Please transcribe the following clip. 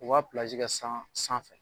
U ka kɛ san san fɛ.